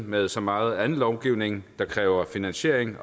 med så meget anden lovgivning det kræver finansiering